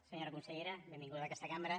senyora consellera benvinguda a aquesta cambra